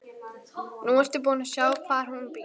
Nú ertu búin að sjá hvar hún býr.